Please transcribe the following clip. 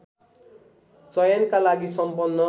चयनका लागि सम्पन्न